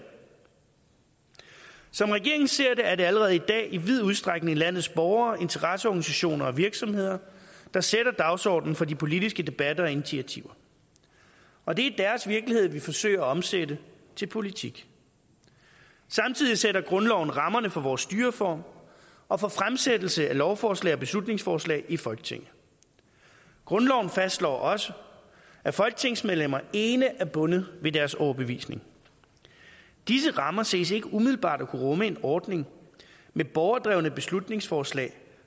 som regeringen ser det er det allerede i dag i vid udstrækning landets borgere interesseorganisationer og virksomheder der sætter dagsordenen for de politiske debatter og initiativer og det er deres virkelighed vi forsøger at omsætte til politik samtidig sætter grundloven rammerne for vores styreform og for fremsættelse af lovforslag og beslutningsforslag i folketinget grundloven fastslår også at folketingsmedlemmer ene er bundet af deres overbevisning disse rammer ses ikke umiddelbart at kunne rumme en ordning med borgerdrevne beslutningsforslag